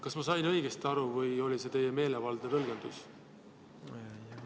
Kas ma sain õigesti aru või oli see teie meelevaldne tõlgendus?